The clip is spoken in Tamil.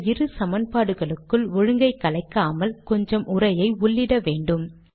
இந்த இரு சமன்பாடுகளுக்குள் ஒழுங்கை கலைக்காமல் கொஞ்சம் உரையை உள்ளிட வேண்டும்